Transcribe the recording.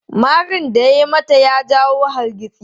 Marin da ya yi mata ya jawo hargitsi.